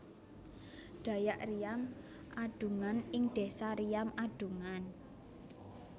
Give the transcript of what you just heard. Dayak Riam Adungan ing desa Riam Adungan